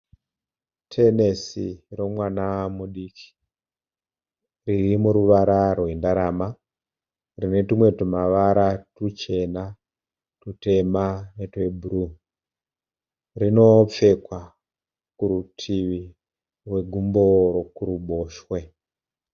Tenesi romwana mudiki. Riri muruvara rwendarama. Rine tumwe tumavara tuchena, tutema netwebhuruu. Rinopfekwa kurutivi rwegumbo rokuruboshwe.